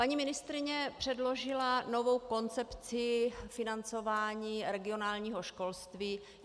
Paní ministryně předložila novou koncepci financování regionálního školství.